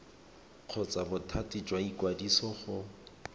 kgotsa bothati jwa ikwadiso go